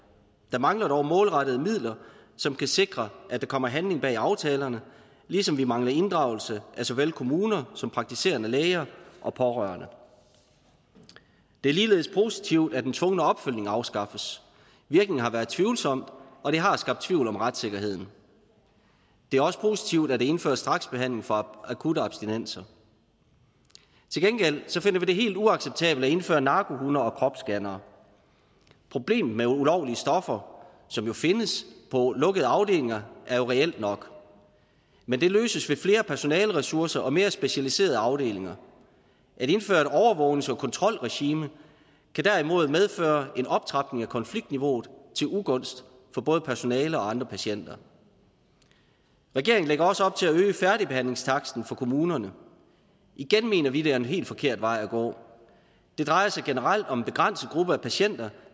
der mangler dog målrettede midler som kan sikre at der kommer handling bag aftalerne ligesom vi mangler inddragelse af så vel kommuner som praktiserende læger og pårørende det er ligeledes positivt at den tvungne opfølgning afskaffes virkningen har været tvivlsom og det har skabt tvivl om retssikkerheden det er også positivt at der indføres straksbehandling for akutte abstinenser til gengæld finder vi det helt uacceptabelt at indføre narkohunde og kropsscannere problemet med ulovlige stoffer som jo findes på lukkede afdelinger er reelt nok men det løses ved flere personaleressourcer og mere specialiserede afdelinger at indføre et overvågnings og kontrolregime kan derimod medføre en optrapning af konfliktniveauet til ugunst for både personale og andre patienter regeringen lægger også op til at øge færdigbehandlingstaksten for kommunerne igen mener vi at det er en helt forkert vej at gå det drejer sig generelt om en begrænset gruppe af patienter